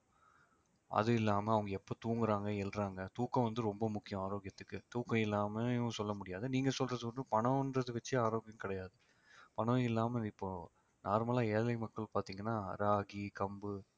அது இல்லாம அவங்க எப்ப தூங்குறாங்க எழுறாங்க தூக்கம் வந்து ரொம்ப முக்கியம் ஆரோக்கியத்துக்கு தூக்கம் இல்லாமலும் சொல்ல முடியாது நீங்க சொல்றது வந்து பணம்ன்றதை வச்சே ஆரோக்கியம் கிடையாது பணம் இல்லாம இப்போ normal லா ஏழை மக்கள் பாத்தீங்கன்னா ராகி, கம்பு